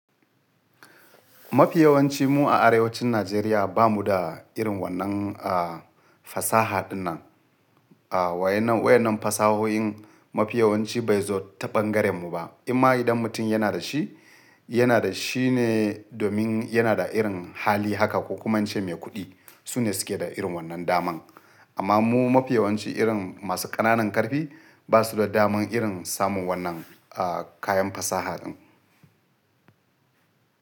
Mafi yawancin mu a arewacin Najeriya bamu da irin wannan, a, fasaha dinnan. A wainnan, wainnan fasahoyin mafi yawanci bai zo ta bangaren mu ba. Amma idan mutum yana da shi, yana da shine domin yana da irin hali haka ko kuma wancan mai kuɗi, sune suke da irin wannan daman. Amma mu mafi yawanci irin masu ƙananan ƙarfi basu da daman irin samun wannan, a, kayan fasaha din.